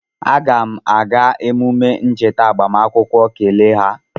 Aga m aga emume ncheta agbamakwụkwọ kele ha